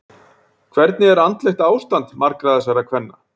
Hvernig er andlegt ástand margra þessara kvenna?